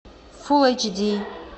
фул эйч ди